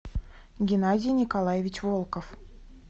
геннадий николаевич волков